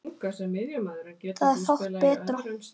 Það er fátt betra.